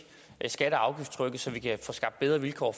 skatte og afgiftstrykket så vi kan få skabt bedre vilkår